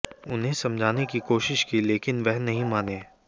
उन्हें समझाने की कोशिश की लेकिन वह नहीं माने